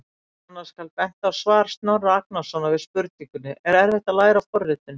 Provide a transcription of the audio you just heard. Annars skal bent á svar Snorra Agnarsson við spurningunni: Er erfitt að læra forritun?